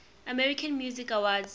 american music awards